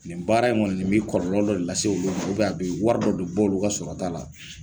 Nin baara in kɔni nin bɛ kɔrɔlɔ dɔ lase olu ma a bɛ wari dɔ de bɔ olu ka sɔrɔta la